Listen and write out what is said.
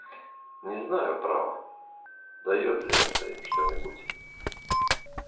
не знаю право даёт ли им это что-нибудь